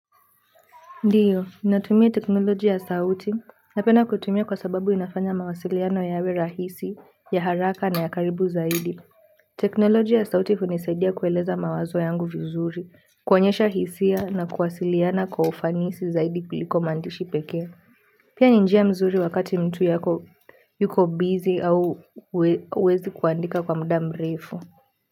Ndiyo, natumia teknolojia ya sauti, napenda kuitumia kwa sababu inafanya mawasiliano yawe rahisi ya haraka na ya karibu zaidi. Teknolojia ya sauti hunisaidia kueleza mawazo yangu vizuri, kuonyesha hisia na kuwasiliana kwa ufanisi zaidi kuliko maandishi peke. Pia ni njia mzuri wakati mtu yako yuko busy au huwezi kuandika kwa muda mrefu.